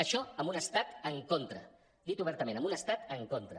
això amb un estat en contra dit obertament amb un estat en contra